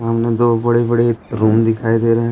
सामने दो बड़े बड़े रूम दिखाई दे रहे हैं।